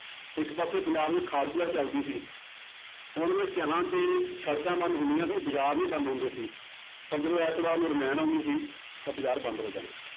ਇੱਕ ਪਾਸੇ ਪੰਜਾਬ 'ਚ ਖਾੜਕੂ ਲਹਿਰ ਚੱਲਦੀ ਸੀ ਤੇ ਸੜਕਾਂ ਬੰਦ ਹੁੰਦੀਆਂ ਸੀ ਬਾਜ਼ਾਰ ਵੀ ਬੰਦ ਹੁੰਦੇ ਸੀ, ਪਰ ਜਦੋਂ ਐਤਵਾਰ ਨੂੰ ਰਮਾਇਣ ਆਉਂਦੀ ਸੀ ਤਾਂ ਬਾਜ਼ਾਰ ਬੰਦ ਹੋ ਜਾਂਦੇ ਸੀ,